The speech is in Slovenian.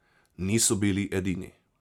Niso bili edini.